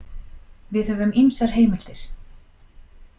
Við höfum ýmsar heimildir.